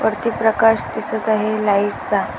वरती प्रकाश दिसत आहे लाइट्स चा--